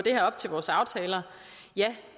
op til vores aftaler ja